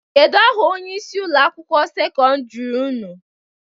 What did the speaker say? Kedu aha onyeisi ụlọ akwụkwọ sekọndiri ụnụ?